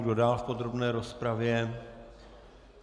Kdo dál v podrobné rozpravě?